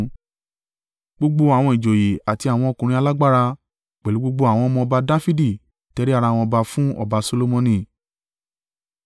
Gbogbo àwọn ìjòyè àti àwọn ọkùnrin alágbára, pẹ̀lú gbogbo àwọn ọmọ ọba Dafidi tẹrí ara wọn ba fún ọba Solomoni.